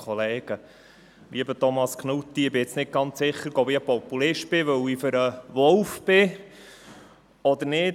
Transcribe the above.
Lieber Thomas Knutti, ich bin nun nicht ganz sicher, ob ich ein Populist bin, weil ich für den Wolf bin oder nicht.